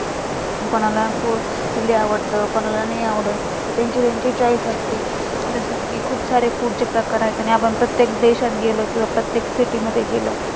कोणाला food जे आवडतं, कोणाला नाही आवडत ते choice असते तसेच food चे खूप सारे प्रकार आहेत आणि आपण प्रत्येक देशात गेलं, कि प्रत्येक city मध्ये गेलं